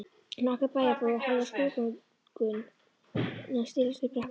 Nokkrir bæjarbúar horfðu á skrúðgönguna silast upp brekkuna.